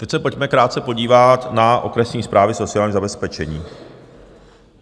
Teď je pojďme krátce podívat na okresní správy sociálního zabezpečení.